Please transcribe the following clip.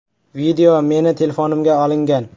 “Video meni telefonimga olingan.